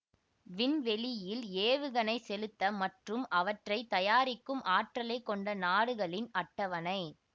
விண்வெளியில் ஏவுகணை செலுத்த மற்றும் அவற்றை தயாரிக்கும் ஆற்றலை கொண்ட நாடுகளின் அட்டவணை